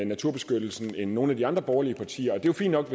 naturbeskyttelsen end nogle af de andre borgerlige partier det er fint nok